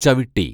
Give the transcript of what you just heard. ചവിട്ടി